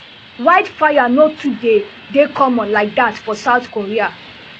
wildfires no too dey dey common like dat for south korea